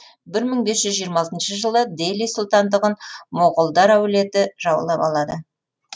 бір мың бес жүз жиырма алтыншы жылы дели сұлтандығын моғолдар әулеті жаулап алады